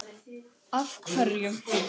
Kristján Már: Af hverju?